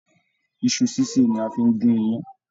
Iṣu ṣiṣe ní a fí n gún iyán.